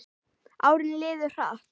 Árin liðu hratt.